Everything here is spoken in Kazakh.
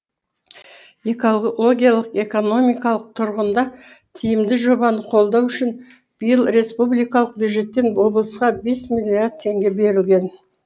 экологиялық экономикалық тұрғында тиімді жобаны қолдау үшін биыл республикалық бюджеттен облысқа бес миллиард теңге берілген